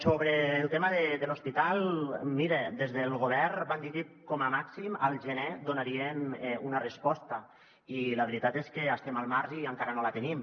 sobre el tema de l’hospital mire des del govern van dir que com a màxim al gener en donarien una resposta i la veritat és que estem al març i encara no la tenim